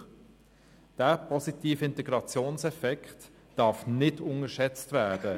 – dieser positive Integrationseffekt darf nicht unterschätzt werden.